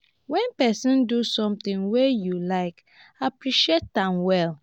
when person do something wey you like appreciate am well